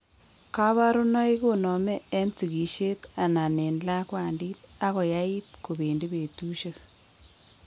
Kabarunoik konome en sigisiet anan en lakwandit ako yait kobendi betusiek